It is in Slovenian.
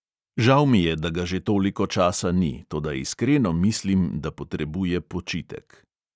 Žal mi je, da ga že toliko časa ni, toda iskreno mislim, da potrebuje počitek.